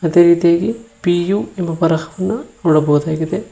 ಅದೇ ರೀತಿಯಾಗಿ P U ಎಂಬ ಬರಹವನ್ನ ನೋಡಬಹುದಾಗಿದೆ.